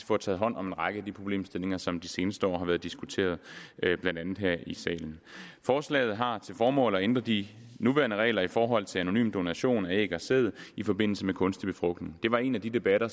får taget hånd om en række af de problemstillinger som de seneste år har været diskuteret blandt andet her i salen forslaget har til formål at ændre de nuværende regler i forhold til anonym donation af æg og sæd i forbindelse med kunstig befrugtning det var en af de debatter